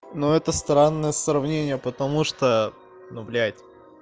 но это странное сравнение потому что ну блядь